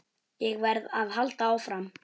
Ég verð að halda áfram.